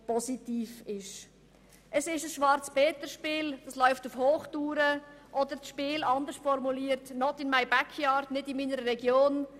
Es ist ein Schwarzpeterspiel, das auf Hochtouren läuft, oder besser gesagt das Spiel «not in my backyard», im übertragenen Sinn also «nicht in meiner Region».